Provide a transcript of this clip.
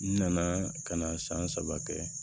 N nana ka na san saba kɛ